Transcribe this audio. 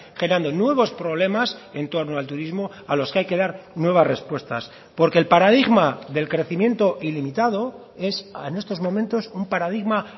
generando nuevos problemas en torno al turismo a los que hay que dar nuevas respuestas porque el paradigma del crecimiento ilimitado es en estos momentos un paradigma